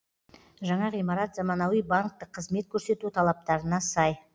жаңа ғимарат заманауи банктік қызмет көрсету талаптарына сай